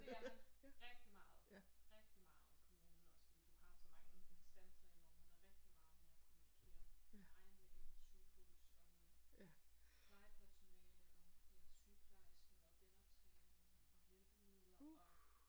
Det er man rigtig meget rigtig meget i kommunen også fordi du har så mange instanser inde over der er rigtig meget med at kommunikere med egen læge og med sygehus og med plejepersonale og ja sygeplejersken og genoptræningen og hjælpemidler og